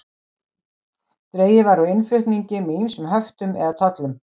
Dregið var úr innflutningi með ýmsum höftum eða tollum.